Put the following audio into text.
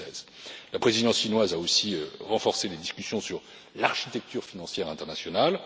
de 2016. La présidence chinoise a aussi renforcé les discussions sur l'architecture financière internationale.